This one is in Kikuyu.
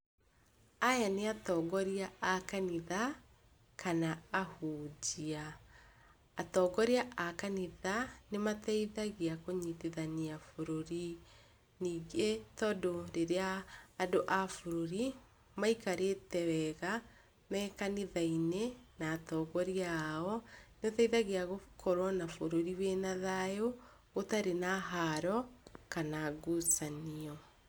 Aya nĩ atongoria a kanitha kana ahunjia. Atongoria a kanitha nĩmateithagia kũnyitithania bũrũri, ningĩ tondũ rĩrĩa andũ abũrũri maikarĩte wega me kanitha-inĩ na atongoria ao, nĩũteithagia gũkorwo na bũrũri wĩna thayũ, ũtarĩ na haro kana ngucanio.